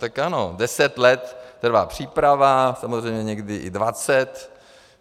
Tak ano, deset let trvá příprava, samozřejmě někdy i dvacet.